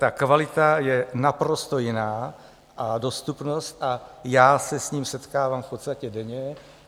Ta kvalita je naprosto jiná, a dostupnost, a já se s tím setkávám v podstatě denně.